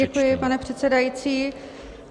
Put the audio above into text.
Děkuji, pane předsedající.